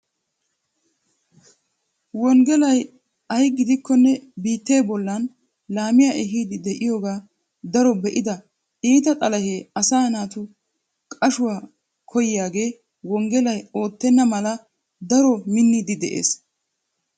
Wonggelay ay gidikkonne biitte bollan laamiya ehiidi de'iyooge daro be'ida iita xalahee asaa naatu qashshuwa koyiyaagee wonggelay odettenna mala daro manddiidi de'enee?